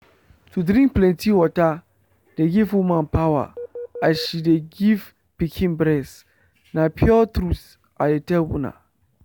to drink plenty water dey give woman power as she de give pikin breast. na pure truth i de tell una.